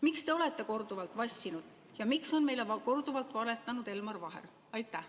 Miks te olete korduvalt vassinud ja miks on meile korduvalt valetanud ka Elmar Vaher?